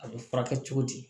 A bɛ furakɛ cogo di